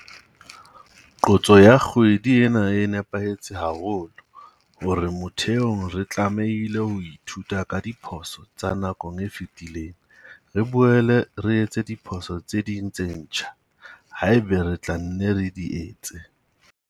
Qotso ya kgwedi ena e nepahetse haholo - hore mothehong re tlamehile ho ithuta ka diphoso tsa nako e fetileng, re boele re etse diphoso tse ding tse ntjha, haeba re tla nne re di etse.